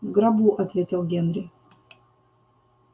в гробу ответил генри